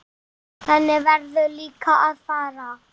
Þannig verður líka að fara.